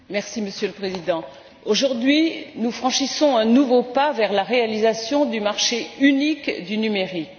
Monsieur le Président, aujourd'hui, nous franchissons un nouveau pas vers la réalisation du marché unique du numérique.